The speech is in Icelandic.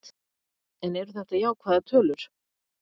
En eru þetta jákvæðar tölur?